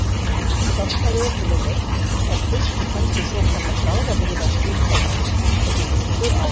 Sá sem fær ökuleyfi fær fyrst í hendur svokallað bráðabirgðaskírteini sem gildir í tvö ár.